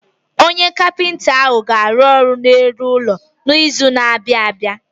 Onye kapinta ahụ ọ ga-arụ ọrụ n'elu ụlọ n'izu na-abịa?